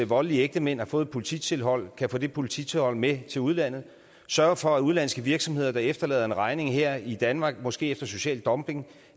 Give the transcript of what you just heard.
voldelige ægtemand har fået et polititilhold kan få det polititilhold med til udlandet sørge for at udenlandske virksomheder der efterlader en regning her i danmark måske efter social dumping